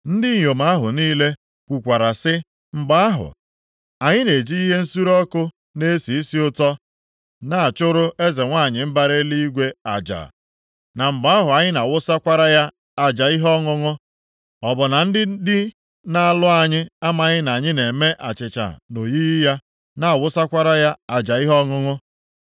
Ndị inyom ahụ niile kwukwara sị, “Mgbe ahụ anyị na-eji ihe nsure ọkụ na-esi isi ụtọ na-achụrụ Eze nwanyị mbara Eluigwe aja na mgbe ahụ anyị na-awụsakwara ya aja ihe ọṅụṅụ, ọ bụ na ndị di na-alụ anyị amaghị na anyị na-eme achịcha nʼoyiyi ya, na-awụsakwara ya aja ihe ọṅụṅụ?”